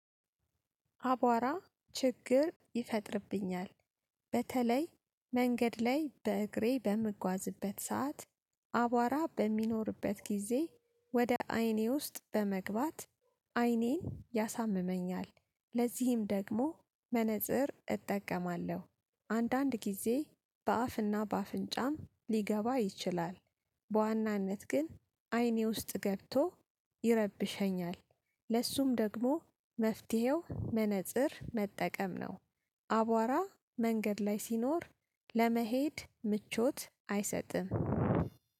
አቧራ ችግር ይፈጥርብኛል። በተለይ መንገድ ላይ በእግሬ በምጓዝበት ሰዓት አቧራ በሚኖርበት ጊዜ ወደ አይኔ ውስጥ በመግባት አይኔን ያሳምመኛል። ለዚህም ደግሞ መነፅር እጠቀማለሁ። አንዳንድ ጊዜ በአፍና በአፍንጫም ሊገባ ይችላል። በዋናነት ግን አይኔ ውስጥ ገብቶ ይረብሸኛል። ለሱም ደግሞ መፍትሄው መነፀር መጠቀም ነው። አቧራ መንገድ ላይ ሲኖር ለመሄድ ምቾት አይሰጥም